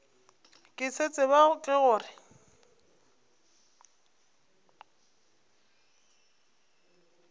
ke se tseba ke gore